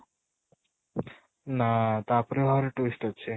ନା ତା ପରେ ଆହୁରି twist ଅଛି